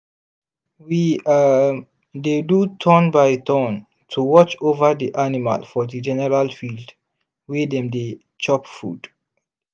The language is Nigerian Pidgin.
we um dey do turn-by-turn to watch over the animal for the general field wey dem they chop food.